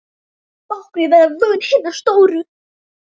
Báknið verður vörn hinna stóru.